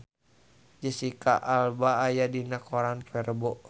Jesicca Alba aya dina koran poe Rebo